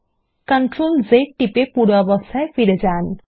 Ctrl ও Z টিপে পূর্বাবস্থায় ফিরে যান